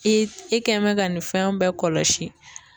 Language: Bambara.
I i kɛ mɛn ka nin fɛnw bɛɛ kɔlɔsi.